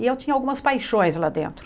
E eu tinha algumas paixões lá dentro.